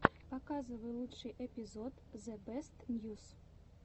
показывай лучший эпизод зэбэстньюс